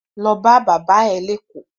Lo bá bàbá ẹ̀ léÈkó!